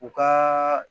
U ka